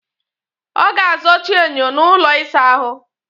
Ọ ga-azụchi enyo nọ n'ụlọ ịsa ahụ